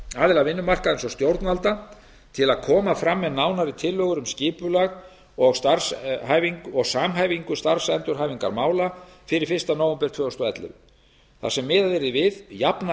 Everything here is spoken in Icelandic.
aðila vinnumarkaðarins og stjórnvalda til að koma fram með nánari tillögur um skipulag og samhæfingu starfsendurhæfingarmála fyrir fyrsta nóvember tvö þúsund og ellefu þar sem miðað yrði við jafna